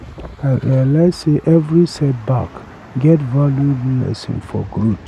I realize sey every setback get valuable lesson for growth.